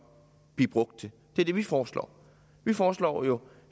blive brugt til det er det vi foreslår vi foreslår